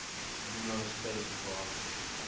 lunar spacecraft